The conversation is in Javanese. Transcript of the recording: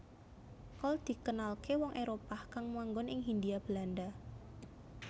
Kol dikenalké wong Éropah kang manggon ing Hindia Belanda